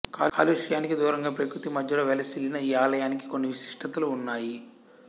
కాలుష్యానికి దూరంగా ప్రకృతి మధ్యలో వెలసిల్లిన ఈ ఆలయానికి కొన్ని విశిష్టతలు ఉన్నాయి